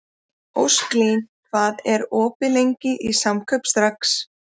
Ósklín, hvað er opið lengi í Samkaup Strax?